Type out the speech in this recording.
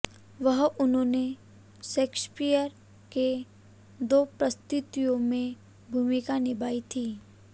वहां उन्होंने शेक्सपियर के दो प्रस्तुतियों में भूमिका निभाई थी